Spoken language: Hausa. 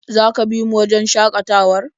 Za ka bi mu wajen shakatawar?